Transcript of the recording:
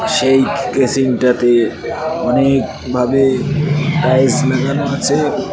সেই বেসিন -টাতে অনেক ভাবে টাইলস লাগানো আছে।